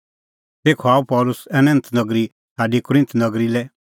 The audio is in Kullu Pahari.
तेखअ आअ पल़सी एथेंस नगरी छ़ाडी कुरिन्थ नगरी लै